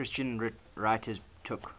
christian writers took